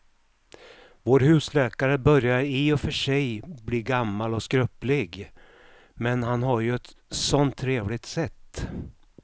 Vår husläkare börjar i och för sig bli gammal och skröplig, men han har ju ett sådant trevligt sätt!